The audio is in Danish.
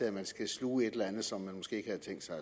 at man skal sluge et eller andet som man måske ikke havde tænkt sig